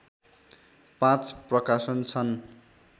पाँच प्रकाशन छन्